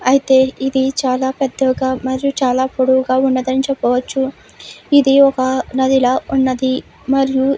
అయితే ఇవి చాలా పెద్దవిగా చాలా పొడవుగా ఉన్నవాని చెప్పవచ్చు ఇది ఒక నది ల ఉన్నది మరియు --